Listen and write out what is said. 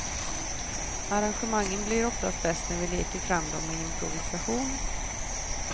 Arrangemangen blir oftast bäst när vi leker fram dem i improvisation.